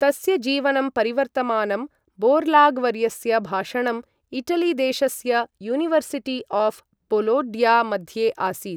तस्य जीवनं परिवर्तमानं बोर्लाग् वर्यस्य भाषणं इटलि देशस्य यूनिवर्सिटि आऴ् बोलोङ्या मध्ये आसीत्।